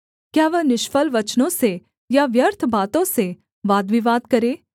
क्या वह निष्फल वचनों से या व्यर्थ बातों से वादविवाद करे